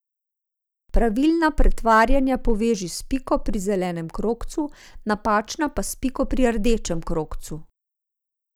Pravilna pretvarjanja poveži s piko pri zelenem krogcu, napačna pa s piko pri rdečem krogcu.